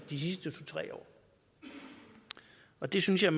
de sidste to tre år og det synes jeg